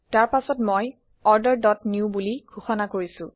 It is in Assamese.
তাৰ পাছত মই অৰ্ডাৰ ডট নিউ বুলি ঘোষণা কৰিছো